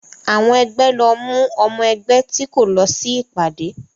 Àwọn ẹgbẹ́ lọ mú ọmọ ẹgbẹ́ tí kò lọ sí ìpàdé